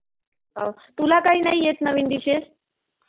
तुला काही नाही येत नवीन डिशेस?